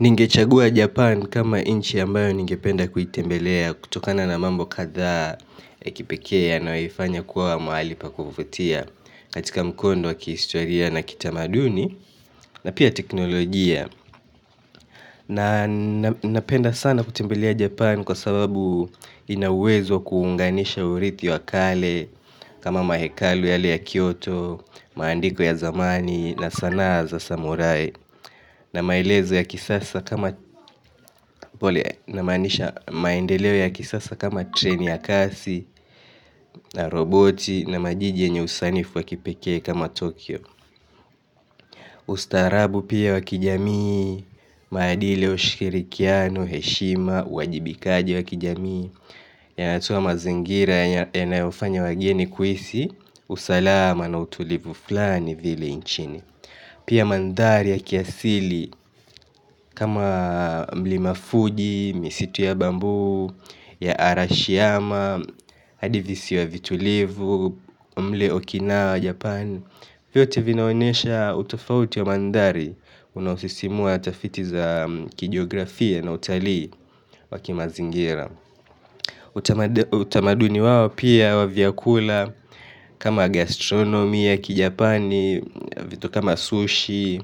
Ningechagua Japan kama nchi ambayo ningependa kuitembelea kutokana na mambo kadhaa ya kipekee yanayoifanya kuwa mahali pa kuvutia katika mkondo wa kihistoria na kitamaduni na pia teknolojia. Na napenda sana kutembelea Japan kwa sababu ina uwezo wa kuunganisha urithi wa kale kama mahekalu yale ya Kyoto, maandiko ya zamani na sanaa za samurai na maendeleo ya kisasa kama treni ya kasi, na roboti na majiji yenye usanifu wa kipekee kama Tokyo. Ustarabu pia wa kijamii, maadili ya ushirikiano, heshima, uwajibikaji wa kijamii, yanatoa mazingira yanayofanya wageni kuhisi, usalama na utulivu fulani vile nchini pia mandhari ya kiasili kama mlima Fuji, misitu ya bamboo ya Arashiyama, hadi visiwa vitulivu, mle Okinawa Japan. Vyote vinaonesha utofauti ya mandhari unaosisimua tafiti za kijografia na utalii wa kimazingira utamaduni wao pia wa vyakula kama gastronomy ya Kijapani, vitu kama sushi,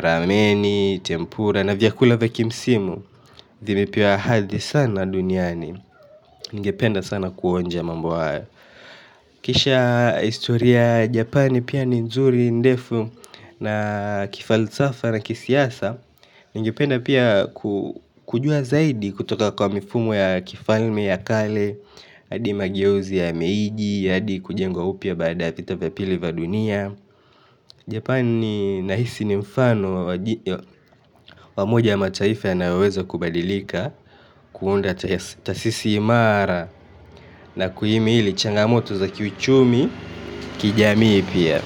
rameni, tempura na vyakula vya kimsimu vimepewa hadhi sana duniani ningependa sana kuonja mambo haya. Kisha historia Japani pia ni nzuri, ndefu na kifalsafa na kisiasa, ningependa pia kujua zaidi kutoka kwa mifumo ya kifalme ya kale, hadi mageuzi ya Meiji hadi kujengwa upya baada vita vya pili vya dunia. Japani nahisi ni mfano wa moja ya mataifa yanayoweza kubadilika kuunda tasisi imara na kuhimili changamoto za kiuchumi, kijamii pia.